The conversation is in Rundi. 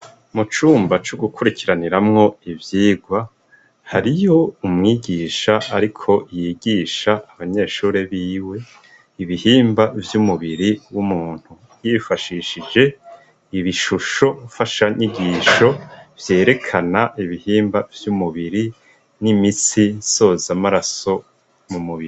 Mu cumba co gukurikiraniramwo ivyigwa hariyo umwigisha ariko yigisha abanyeshure biwe ibihimba vy'umubiri w'umuntu yifashishije ibishusho mfashanyigisho vyerekana ibihimba vy'umubiri n'imitsi sozamaraso mu mubiri.